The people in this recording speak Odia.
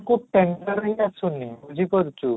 କୁ tender ହିଁ ଆସୁନି ବୁଝି ପାରୁଛୁ